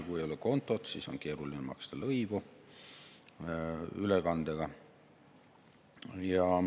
Kui ei ole kontot, siis on keeruline ülekandega lõivu maksta.